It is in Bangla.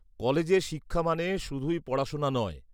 -কলেজে শিক্ষা মানে শুধুই পড়াশোনা নয়।